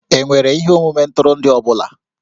E nwere ihe omume ntụrụndụ ọ bụla?